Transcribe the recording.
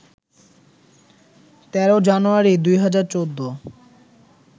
১৩ জানুয়ারি, ২০১৪